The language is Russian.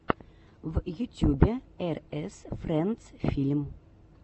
в ютьюбе эр эс френдс фильм